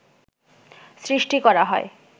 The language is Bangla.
সৃষ্টি করা হয়